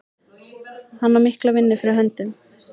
Hann á mikla vinnu fyrir höndum.